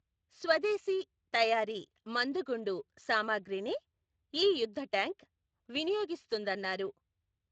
స్వదేశీ తయారీ మందుగుండు సామగ్రినే ఈ యుద్ధట్యాంకు వినియోగిస్తుందన్నారు.